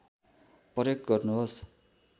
प्रयोग गर्नुहोस्